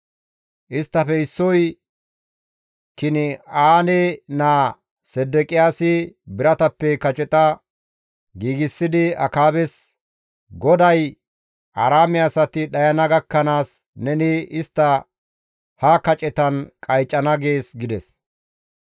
Isttafe issoy Kin7aane naa Sedeqiyaasi biratappe kaceta giigsidi Akaabes, «GODAY, ‹Aaraame asati dhayana gakkanaas neni istta ha kacetan qaycana› gees» gides.